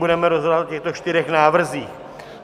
Budeme rozhodovat o těchto čtyřech návrzích.